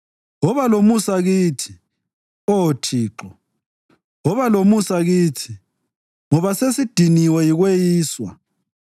Woba lomusa kithi, Oh Thixo, woba lomusa kithi, ngoba sesidiniwe yikweyiswa.